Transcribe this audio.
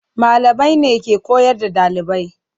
Malamai ne ke koyar da ɗalibai.